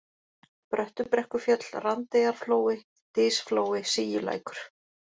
Bröttubrekkufjöll, Randeyjarflói, Dysflói, Síulækur